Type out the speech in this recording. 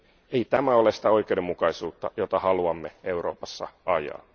Ei tämä ole sitä oikeudenmukaisuutta, jota haluamme Euroopassa ajaa.